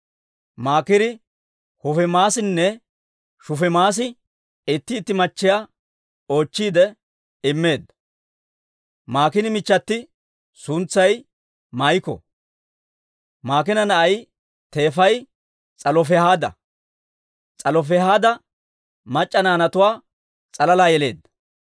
Maakiiri Hufiimaassinne Shufiimassi itti itti machchiyaa oochchiide immeedda. Maakiina michchati suntsay Maa'iko. Maakiina na'ay teefay S'alofihaada. S'alofihaad mac'c'a naanatuwaa s'alalaa yeleedda.